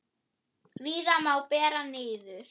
Víða má bera niður.